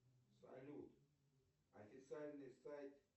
салют официальный сайт